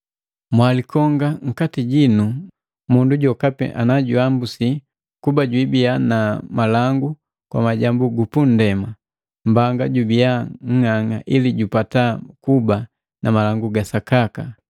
Mwalikonga nkati jino mundu jokapi najuambusi kuba jubii na malangu kwa majambu gupundema, mbanga jubiya ng'ang'a ili jupata kuba na malangu ga sakaka.